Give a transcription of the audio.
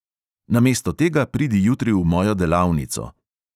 Namesto tega pridi jutri v mojo delavnico.